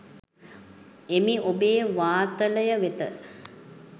එමි ඔබේ වාතලය වෙත.